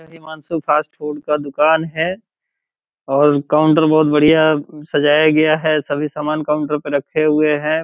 Himanshu fast food का दुकान है और काउंटर बहुत बड़िया सजाया गया है | सभी समान काउंटर पे रखे हुए हैं |